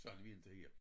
Så han vil inte igen